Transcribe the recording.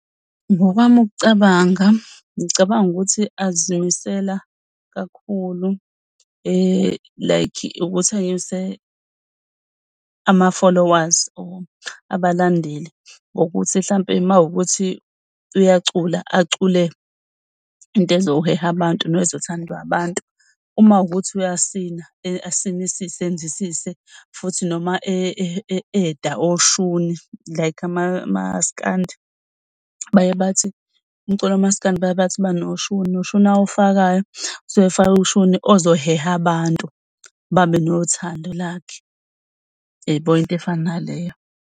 Ngokwami ukucabanga, ngicabanga ukuthi azimisela kakhulu like ukuthi anyuse ama-followers abalandeli ukuthi mhlawumbe mawukuthi uyacula, acule into ezoheha abantu ezothandwa abantu. Uma kuwukuthi uyasina, asinisise futhi noma e-eda oshuni like aMaskandi baye bathi umculo kaMaskandi baye bathi banoshuni lo shuni awufakayo kusuke ufake ushuni ozoheha abantu babe nothando lwakhe. Uyayibo into efana naleyo?